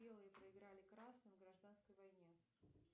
белые проиграли красным в гражданской войне